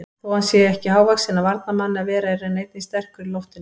Þó hann sé ekki hávaxinn af varnarmanni að vera er hann einnig sterkur í loftinu.